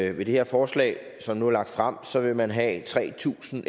at ved det her forslag som nu er fremsat vil man have tre tusind